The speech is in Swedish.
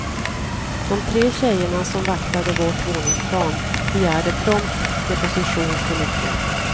De tre tjejerna som vaktade vårt våningsplan begärde prompt deposition för nyckeln.